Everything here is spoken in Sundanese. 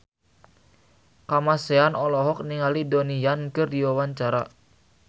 Kamasean olohok ningali Donnie Yan keur diwawancara